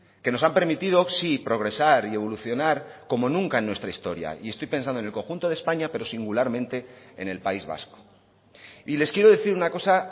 que nos han permitido sí progresar y evolucionar como nunca en nuestra historia y estoy pensando en el conjunto de españa pero singularmente en el país vasco y les quiero decir una cosa